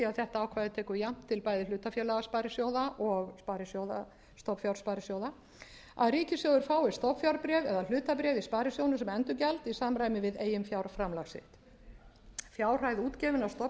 þetta ákvæði tekur jafnt til bæði hlutafélagasparisjóða og og stofnfjársparisjóða að ríkissjóður fái stofnfjárbréf eða hlutabréf í sparisjóðnum sem endurgjald í samræmi við eiginfjárframlag sitt fjárhæð útgefinna stofnfjárhluta til